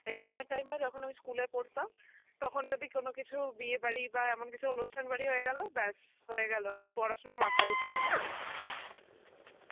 exam এর time এ আমি যখন school এ পড়তাম তখন যদি কোনো কিছু বিয়ে বাড়ি বা এমন কিছু অনুষ্ঠান বাড়ি হয়ে গেলো ব্যাস হয়েগেলো. আর পড়াশুনা মাথায় উঠে যেতো.